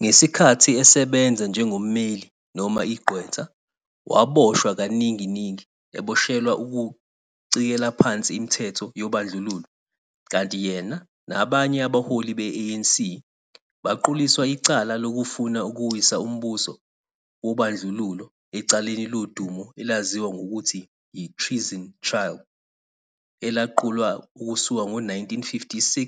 Ngesikhathi esebenza njengommeli noma igqwetha, waboshwa kaningi-ningi, eboshelwa ukucikela phansi imithetho yobandlululo, kanti yena nabanye abaholi be-ANC, baquliswa icala lokufuna ukuwisa umbuso wobandlululo ecaleni lodumu elaziwa ngokuthi yi-Treason Trial, elaqulwa ukusuka ngo-1956